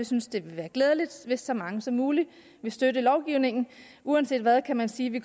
synes det vil være glædeligt hvis så mange som muligt vil støtte lovgivningen og uanset hvad kan man sige at vi